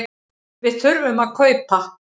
Við þurfum að kaupa.